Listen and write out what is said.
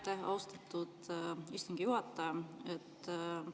Aitäh, austatud istungi juhataja!